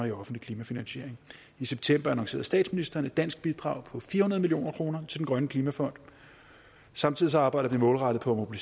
i offentlig klimafinansiering i september annoncerede statsministeren et dansk bidrag på fire million kroner til den grønne klimafond samtidig arbejder vi målrettet på at